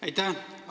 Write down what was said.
Aitäh!